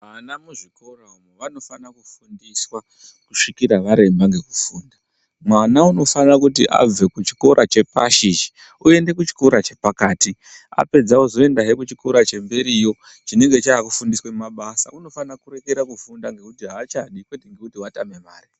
Ana muzvikora umu vanofana kufundiswa kusvikira varemba ngekufunda. Mwana unofane kuti abve kuchikora chepashi ichi oende kuchikora chepakati. Apedza ozoendahe kuchikora chemberiyo chinenge chaakufundiswe mabasa. Unofana kurekera kufunda ngekuti haachadi kwete ngekuti watame mare.